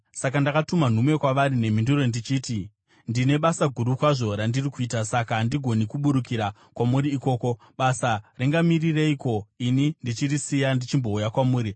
Saka ndakatuma nhume kwavari nemhinduro ndichiti, “Ndine basa guru kwazvo randiri kuita, saka handigoni kuburukira kwamuri ikoko. Basa ringamirireiko ini ndichirisiya ndichimbouya kwamuri?”